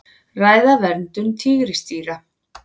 Ræða verndun tígrisdýra